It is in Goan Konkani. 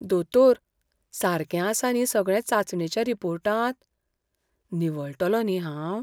दोतोर, सारकें आसा न्ही सगळें चांचणेच्या रिपोर्टांत? निवळटलों न्ही हांव?